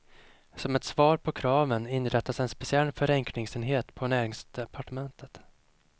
Som ett svar på kraven inrättas en speciell förenklingsenhet på näringsdepartementet.